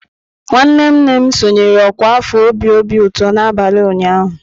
Nwanne nne m sonyeere ọkwa afọ obi obi ụtọ n'abalị ụnyaahụ.